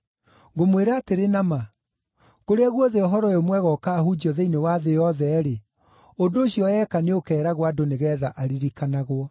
Ngũmwĩra atĩrĩ na ma, kũrĩa guothe Ũhoro-ũyũ-Mwega ũkaahunjio thĩinĩ wa thĩ yothe-rĩ, ũndũ ũcio eeka nĩũkeeragwo andũ nĩgeetha aririkanagwo.”